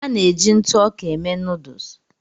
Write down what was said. A na-eji ntụ ọka eme nuduls.